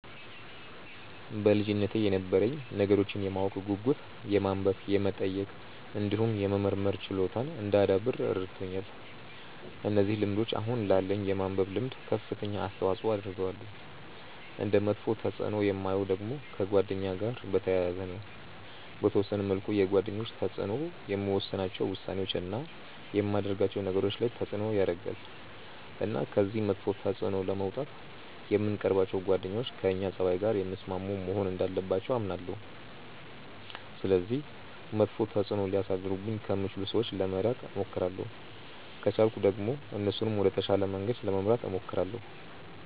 በልጅነቴ የነበረኝ ነገሮችን የማወቅ ጉጉት የማንበብ የመጠየቅ እንዲሁም የመመርመር ችሎታን እንዳዳብር ረድቶኛል። እነዚህ ልምዶች አሁን ላለኝ የማንበብ ልምድ ከፍተኛ አስተዋጽዖ አድርገዋል። እንደ መጥፎ ተፅእኖ የማየው ደግሞ ከጓደኛ ጋር በተያያዘ ነው። በተወሰነ መልኩ የጓደኞች ተጽእኖ የምወስናቸው ውሳኔዎች፣ እና የማደርጋቸው ነገሮች ላይ ተጽእኖ ያረጋል። እና ከዚህ መጥፎ ተጽእኖ ለመውጣት የምንቀርባቸው ጓደኞች ከእኛ ፀባይ ጋር የሚስማሙ መሆን እንዳለባቸው አምናለሁ። ስለዚህ መጥፎ ተጽእኖ ሊያሳድሩብኝ ከሚችሉ ሰዎች ለመራቅ እሞክራለሁ። ከቻልኩ ደግሞ እነሱንም ወደ ተሻለ መንገድ ለመምራት እሞክራለሁ።